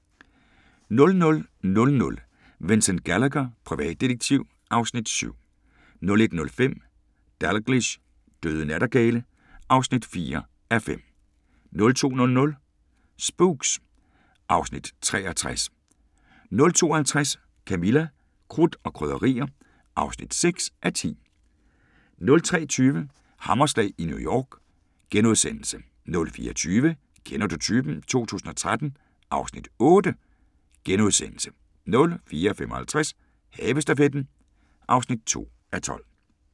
22:30: Irene Huss: Manden med det lille ansigt (Afs. 9) 00:00: Vincent Gallagher, privatdetektiv (Afs. 7) 01:05: Dalgliesh: Døde nattergale (4:5) 02:00: Spooks (Afs. 63) 02:50: Camilla – Krudt og Krydderier (6:10) 03:20: Hammerslag i New York * 04:20: Kender du typen? 2013 (Afs. 8)* 04:55: Havestafetten (2:12)